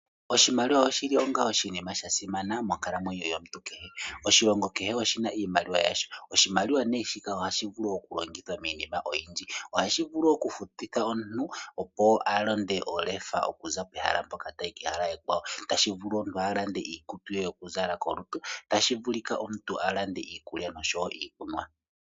Oshimaliwa oshili onga oshinima shasimana monkalamwenyo yomuntu kehe. Oshilongo kehe oshina iimaliwa yasho. Oshimaliwa ohashi vulu oku longithwa miinima oyindji ,ohashi vulu oku futithwa olefa opo omuntu aze pehala limwe okuya kehala li ili, tashi vulu omuntu alande iikutu ye ,tashi vulu omuntu alande iikulya oshowo iikunwa.